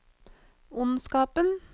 ondskapen